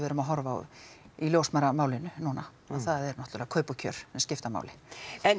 erum að horfa á í ljósmæðramálinu núna að það er náttúrulega að kaup og kjör þau skipta máli en